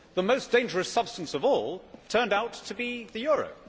The most dangerous substance of all turned out to be the euro!